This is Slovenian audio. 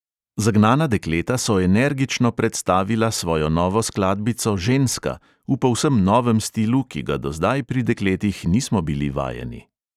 Zagnana dekleta so energično predstavila svojo novo skladbico ženska v povsem novem stilu, ki ga do zdaj pri dekletih nismo bili vajeni.